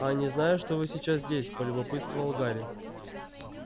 а они знаю что вы сейчас здесь полюбопытствовал гарри